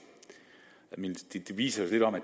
det viser lidt om at